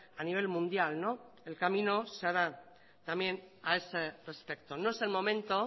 a nivel mundial el camino se hará también a ese respecto no es el momento